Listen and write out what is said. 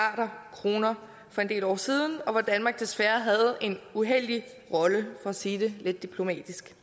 kroner for en del år siden og hvor danmark desværre havde en uheldig rolle for at sige det lidt diplomatisk